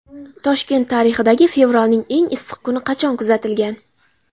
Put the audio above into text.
Toshkent tarixidagi fevralning eng issiq kuni qachon kuzatilgan?.